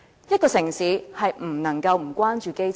一個城市不能不關注基層。